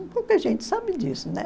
Pouca gente sabe disso, né?